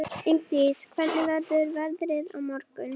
Ingdís, hvernig verður veðrið á morgun?